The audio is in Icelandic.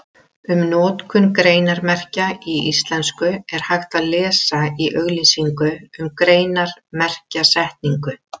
Um notkun greinarmerkja í íslensku er hægt að lesa í auglýsingu um greinarmerkjasetningu.